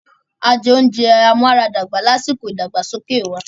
A jẹ oúnjẹ amúaradàgbà lásìkò ìdàgbàsókè wa.